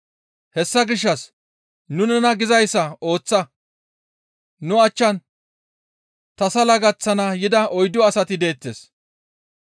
Hessa gishshas nu nena gizayssa ooththa; nu achchan tasala gaththana yida oyddu asati deettes.